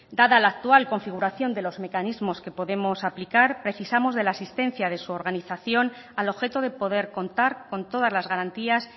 dada la actual configuración de los mecanismos que podemos aplicar precisamos de la asistencia de su organización al objeto de poder contar con todas las garantías